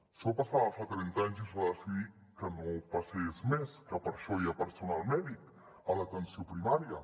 això passava fa trenta anys i es va decidir que no passés més que per això hi ha personal mèdic a l’atenció primària